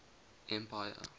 empire